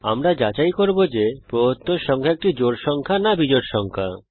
আমরা যাচাই করব যে প্রদত্ত সংখ্যা একটি জোড় সংখ্যা না বিজোড় সংখ্যা